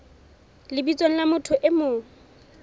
lebitsong la motho e mong